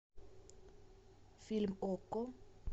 фильм окко